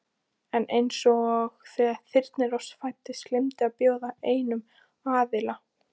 En einsog þegar Þyrnirós fæddist gleymdist að bjóða einum aðila.